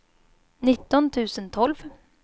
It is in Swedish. nitton tusen tolv